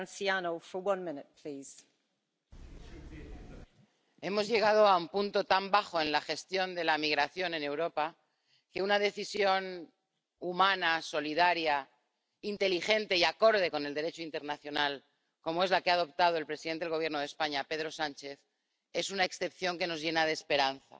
Señora presidenta, hemos llegado a un punto tan bajo en la gestión de la migración en Europa que una decisión humana, solidaria, inteligente y acorde con el Derecho internacional, como es la que ha adoptado el presidente del Gobierno de España, Pedro Sánchez, es una excepción que nos llena de esperanza.